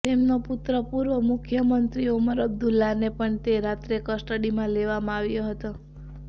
તેમનો પુત્ર પૂર્વ મુખ્યમંત્રી ઓમર અબ્દુલ્લાને પણ તે રાત્રે કસ્ટડીમાં લેવામાં આવ્યો હતો